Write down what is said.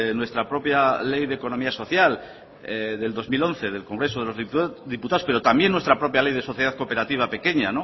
nuestra propia ley de economía social de dos mil once del congreso de los diputados pero también nuestra propia ley de sociedad cooperativa pequeña